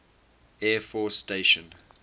air force station